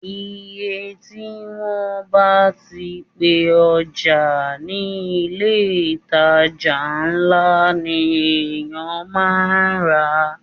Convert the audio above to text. Iye tí wọ́n bá ti pe ọjà ní ilé ìtajà ńlá ni èyàn máa rà á.